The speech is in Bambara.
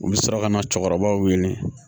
U bɛ sɔrɔ ka na cɛkɔrɔbaw wele